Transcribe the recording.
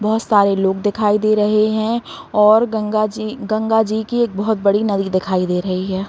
बहुत सारे लोग दिखाई दे रहे है और गंगाजी गंगाजी की एक बहुत बड़ी नदी दिखाई दे रही है।